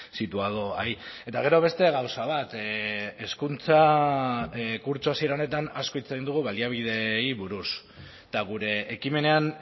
situado ahí eta gero beste gauza bat hezkuntza kurtso hasiera honetan asko hitz egin dugu baliabideei buruz eta gure ekimenean